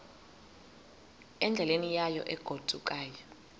endleleni yayo egodukayo